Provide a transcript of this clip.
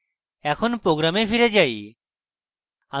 এখন program ফিরে আসি